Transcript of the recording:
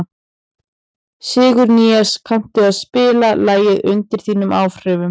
Sigurnýas, kanntu að spila lagið „Undir þínum áhrifum“?